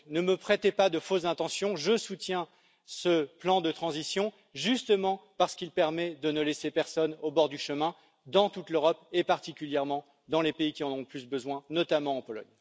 Ne me prêtez donc pas de fausses intentions je soutiens ce plan de transition justement parce qu'il permet de ne laisser personne au bord du chemin dans toute l'Europe et particulièrement dans les pays qui en ont plus besoin, notamment la Pologne.